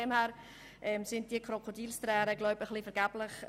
Deshalb sind diese Krokodilstränen wohl vergeblich.